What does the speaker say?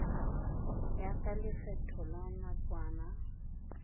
ya ka lekgetho la nakwana